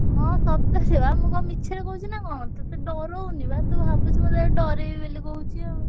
ହଁ ସତରେ ବା ମୁଁ କଣ ମିଛରେ କହୁଛି ନା କଣ ତତେ ଡରଉନି ବା ତୁ ଭାବୁଛୁ ମୁଁ ତତେ ଡରେଇବି ବୋଲି କହୁଛି ଆଉ।